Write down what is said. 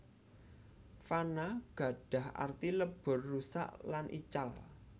Fana gadah arti lebur rusak lan ical